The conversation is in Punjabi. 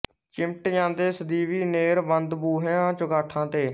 ਚਿਮਟ ਜਾਂਦੇ ਸਦੀਵੀ ਨੇਰ੍ਹ ਬੰਦ ਬੂਹਿਆਂ ਚੁਗਾਠਾਂ ਤੇ